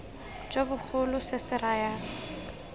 jo bogolo se se raya